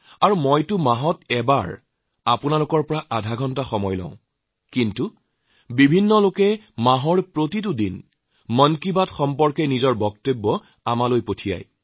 আৰু মইতো মাহত এবাৰ আপোনালোকৰ আধাঘণ্টা সময় লওঁ কিন্তু মানুহে ত্ৰিশ দিনে মন কী বাতৰ বাবে নিজৰ কথা প্ৰেৰণ কৰি পাৰে